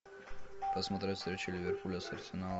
посмотреть встречу ливерпуля с арсеналом